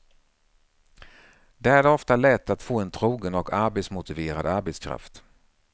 Där är det ofta lätt att få en trogen och arbetsmotiverad arbetskraft.